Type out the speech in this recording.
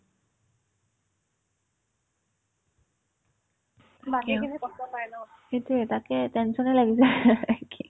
সেটোয়ে তাকে tension য়ে লাগি যাই কি